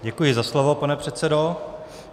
Děkuji za slovo, pane předsedo.